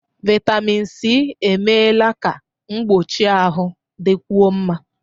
Vitamịn Sị emeela ka mgbochi ahụ dịkwuo mma.